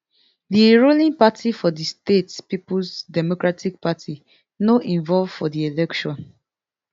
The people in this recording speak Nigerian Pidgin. di ruling party for di state peoples democratic party no involve for di election